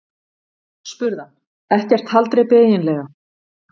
spurði hann: Ekkert haldreipi eiginlega.